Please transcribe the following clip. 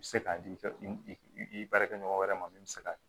I bɛ se k'a di i baarakɛɲɔgɔn wɛrɛ ma min bɛ se k'a kɛ